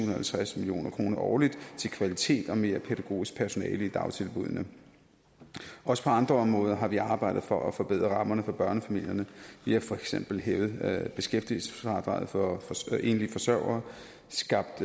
og halvtreds million kroner årligt til kvalitet og mere pædagogisk personale i dagtilbuddene også på andre områder har vi arbejdet for at forbedre rammerne for børnefamilierne vi har for eksempel hævet beskæftigelsesfradraget for enlige forsørgere skabt